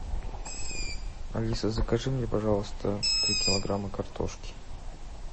алиса закажи мне пожалуйста три килограмма картошки